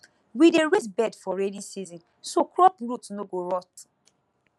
we dey raise bed for rainy season so crop root no go rot